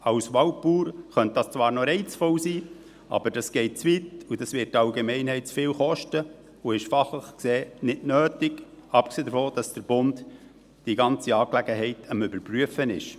Als Waldbauer könnte dies zwar noch reizvoll sein, aber es geht zu weit und würde die Allgemeinheit zu viel kosten, und fachlich gesehen ist es nicht nötig, abgesehen davon, dass der Bund die ganze Angelegenheit am Überprüfen ist.